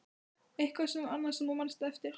Eitthvað annað sem þú manst eftir?